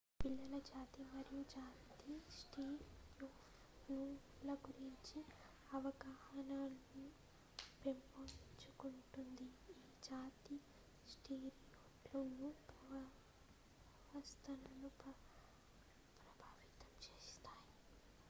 పిల్లలు జాతి మరియు జాతి స్టీరియోటైప్ ల గురించి అవగాహన ను పెంపొందించుకుంటుంది ఈ జాతి స్టీరియోటైప్లు ప్రవర్తనను ప్రభావితం చేస్తాయి